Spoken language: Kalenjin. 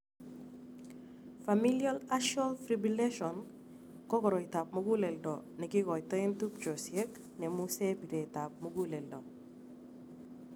Familial artial fibrillation ko koroitab muguleldo nekikoitoen tubchosiek nemusee bireet ab muguleldo